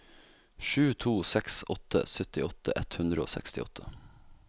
sju to seks åtte syttiåtte ett hundre og sekstiåtte